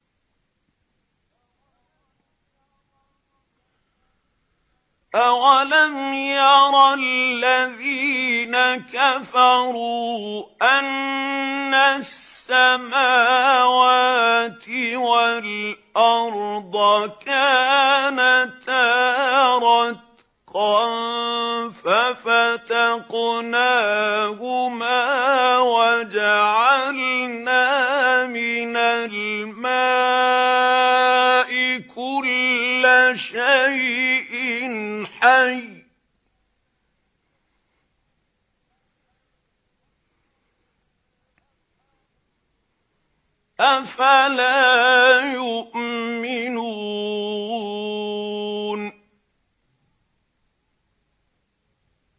أَوَلَمْ يَرَ الَّذِينَ كَفَرُوا أَنَّ السَّمَاوَاتِ وَالْأَرْضَ كَانَتَا رَتْقًا فَفَتَقْنَاهُمَا ۖ وَجَعَلْنَا مِنَ الْمَاءِ كُلَّ شَيْءٍ حَيٍّ ۖ أَفَلَا يُؤْمِنُونَ